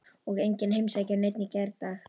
Og enginn heimsækir neinn í gærdag.